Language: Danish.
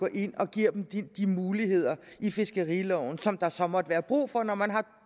ind og gav dem de muligheder i fiskeriloven som der så måtte være brug for når man har